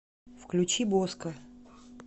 включи боско